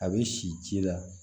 A bɛ si ci la